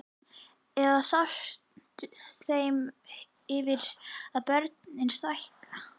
Eða sást þeim yfir að börn stækka?